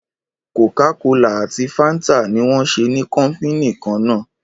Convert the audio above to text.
Kòkà kòlá àtí fàńtà ní wón sẹ ni kọpínì kàn nà.